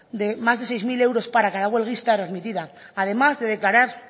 de más de seis mil euros para cada huelguista readmitida además de declarar